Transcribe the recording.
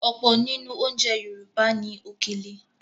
Ọ̀pọ̀ nínú oúnjẹ Yorùbá ní “Òkèlè”.